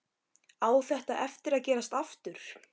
Á þetta eftir að gerast aftur?